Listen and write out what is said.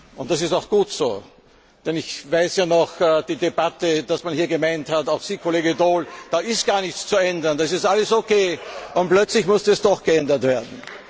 Und das ist auch gut so, denn ich kann mich an die Debatte erinnern, als man hier gemeint hat auch Sie, Kollege Daul da sei gar nichts zu ändern, das sei alles okay. Und plötzlich musste es doch geändert werden.